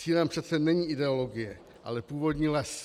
Cílem přece není ideologie, ale původní les.